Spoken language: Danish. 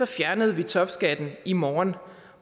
fjernede vi topskatten i morgen